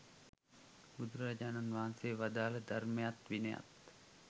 බුදුරජාණන් වහන්සේ වදාළ ධර්මයත් විනයත්.